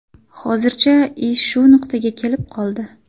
Hozircha ish shu nuqtaga kelib qoldi.